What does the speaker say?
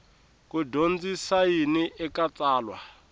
ku dyondzisa yini eka tsalwa